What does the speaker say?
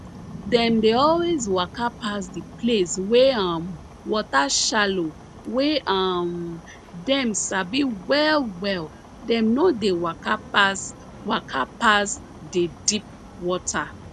dem dey always waka pass the place wey um water shallow wey um dem sabi well well dem no dey waka pass waka pass the deep water